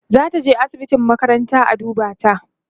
zataje asibitin makaranta a duba ta